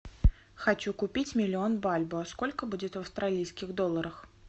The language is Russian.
хочу купить миллион бальбоа сколько будет в австралийских долларах